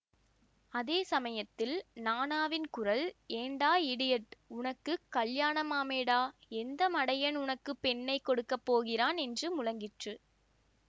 அதே சமயத்தில் நாணாவின் குரல் ஏண்டா இடியட் உனக்கு கல்யாணமாமேடா எந்த மடையண்டா உனக்கு பெண்ணை கொடுக்க போகிறான் என்று முழங்கிற்று